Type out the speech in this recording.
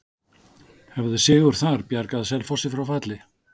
Hefði sigur þar bjargað Selfoss frá falli?